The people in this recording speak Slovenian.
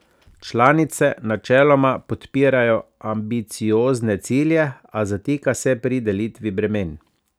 Članice načeloma podpirajo ambiciozne cilje, a zatika se pri delitvi bremen.